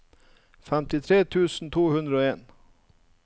femtitre tusen to hundre og en